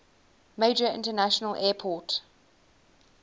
major international airport